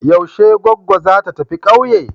Yaushe goggo za ta tafi kauye?